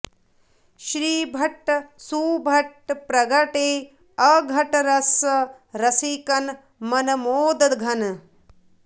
श्रीभट्ट सुभट प्रगटे अघट रस रसिकन मनमोद घन